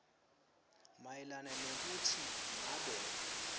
mayelana nekutsi ngabe